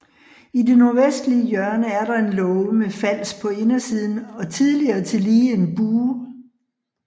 I det nordvestlige hjørne er der en låge med fals på indersiden og tidligere tillige en bue